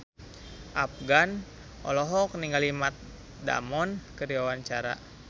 Afgan olohok ningali Matt Damon keur diwawancara